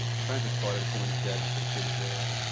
Você conhece a história de como eles vieram, por que eles vieram?